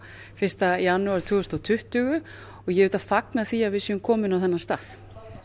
fyrsta janúar tvö þúsund og tuttugu og ég auðvitað fagna því að við erum komin á þennan stað